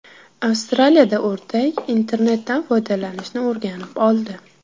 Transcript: Avstraliyada o‘rdak internetdan foydalanishni o‘rganib oldi.